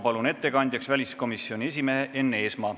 Palun ettekandjaks väliskomisjoni esimehe Enn Eesmaa.